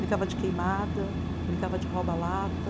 Brincava de queimada, brincava de rouba lata.